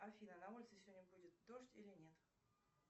афина на улице сегодня будет дождь или нет